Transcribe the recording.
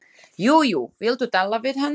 Jú jú, viltu tala við hann?